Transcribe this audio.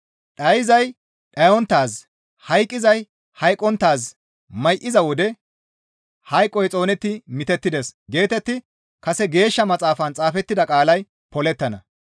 Dhayzay dhayonttaaz, hayqqizay hayqqonttaaz may7iza wode, «Hayqoy xoonetti mitettides» geetetti kase Geeshsha Maxaafan xaafettida qaalay polettana.